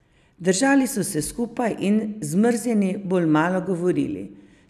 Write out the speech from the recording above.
Držali so se skupaj in, zmrznjeni, bolj malo govorili.